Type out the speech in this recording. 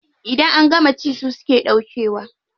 Idan an gama ci su suke ɗaukewa.